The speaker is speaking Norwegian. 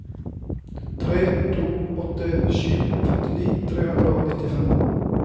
tre to åtte sju femtini tre hundre og nittifem